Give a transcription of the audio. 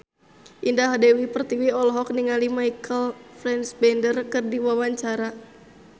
Indah Dewi Pertiwi olohok ningali Michael Fassbender keur diwawancara